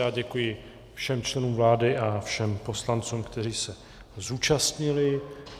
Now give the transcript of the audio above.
Já děkuji všem členům vlády a všem poslancům, kteří se zúčastnili.